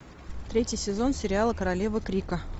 третий сезон сериала королева крика